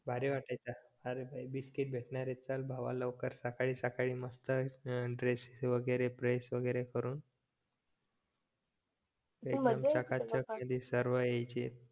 भारी वाटायचा